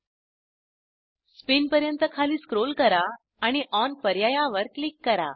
spin पर्यंत खाली scroll करा आणि ओन पर्यायावर क्लिक करा